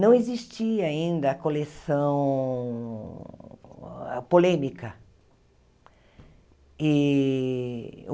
não existia ainda a coleção polêmica. E